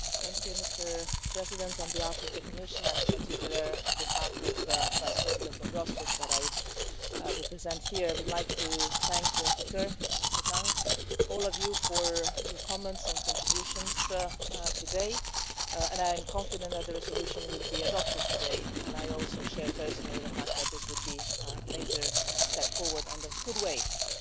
Mr President, on behalf of the Commission, and in particular on behalf of Vice-President Dombrovskis whom I represent here, I would like to thank the rapporteur, Mr Tang, all of you for your comments and contributions today, and I am confident that the resolution will be adopted today, and I also share personally the fact that this would be a major step forward and a good way of